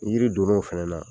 Ni Jiri donn' o fana na